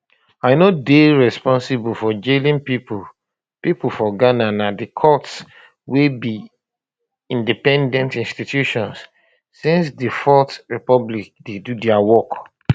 i no dey responsible for jailing pipo pipo for ghana na di courts wey be independent institutions since di fourth republic dey do dia work